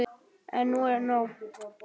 En nú er nóg!